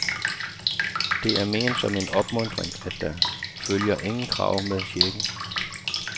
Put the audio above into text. De er ment som en opmuntring, og der følger ingen krav med checken.